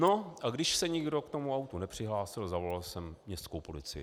No a když se nikdo k tomu autu nepřihlásil, zavolal jsem městskou policii.